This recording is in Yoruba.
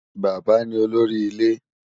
Bàbá ni olórí ilẹ̀